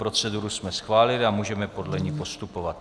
Proceduru jsme schválili a můžeme podle ní postupovat.